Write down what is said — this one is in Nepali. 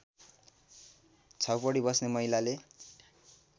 छाउपडी बस्ने महिलाले